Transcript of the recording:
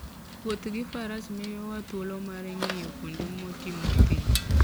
Wuoth gi faras miyowa thuolo mar ng'iyo kuonde motimo thim.